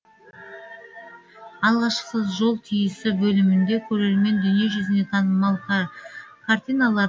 алғашқысы жол түйісі бөлімінде көрермен дүние жүзіне танымал картиналар